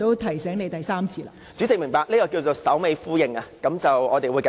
代理主席，明白，這叫作首尾呼應，我們會繼續。